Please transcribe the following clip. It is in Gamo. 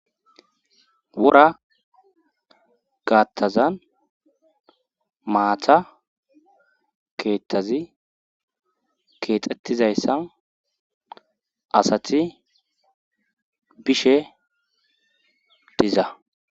wora gaattazan maata keetthazi keexxettizayssan asati bishe diza